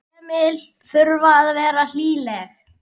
Heimili þurfa að vera hlýleg.